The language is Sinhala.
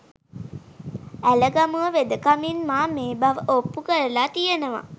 ඇලගමුව වෙදකමින් මා මේ බව ඔප්පු කරල තියනවා